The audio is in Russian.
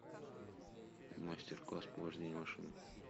мастер класс по вождению машины